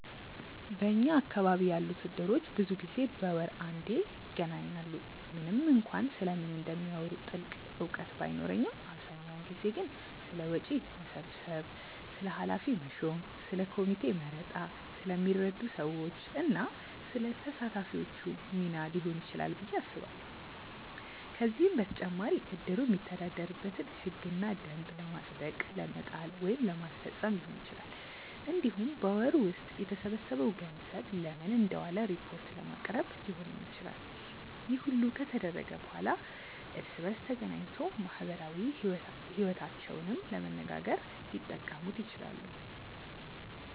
በኛ አካባቢ ያሉት እድሮች ብዙ ጊዜ በወር አንዴ ይገናኛሉ። ምንም እንኳን ስለምን እንደሚያወሩ ጥልቅ እውቀት ባይኖረኝም አብዛኛውን ጊዜ ግን ስለ ወጪ መሰብሰብ፣ ስለ ኃላፊ መሾም፣ ስለ ኮሚቴ መረጣ፣ ስለሚረዱ ሰዎች እና ስለ ተሳታፊዎቹ ሚና ሊሆን ይችላል ብዬ አስባለሁ። ከዚህም በተጨማሪ እድሩ የሚተዳደርበትን ህግና ደንብ ለማጽደቅ ለመጣል ወይም ለማስፈፀም ሊሆን ይችላል። እንዲሁም በወሩ ውስጥ የተሰበሰበው ገንዘብ ለምን እንደዋለ ሪፖርት ለማቅረብ ሊሆንም ይችላል። ይህ ሁሉ ከተደረገ በኋላ እርስ በእርስ ተገናኝቶ ማህበራዊ ይወታቸውንም ለመነጋገር ሊጠቀሙት ይችላሉ።